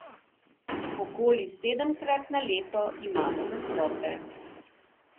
Okoli sedemkrat na leto imamo nastope.